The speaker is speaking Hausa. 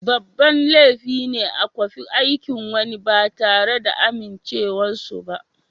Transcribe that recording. Babban laifi ne a kwafi aikin wani ba tare da amincewar su ba.